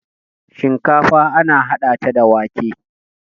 shinkafa ana hada ta da wake